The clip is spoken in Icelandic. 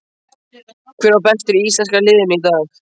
Hver var bestur í íslenska liðinu í dag?